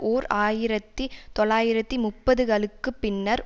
ஓர் ஆயிரத்தி தொள்ளாயிரத்தி முப்பதுகளுக்குப் பின்னர்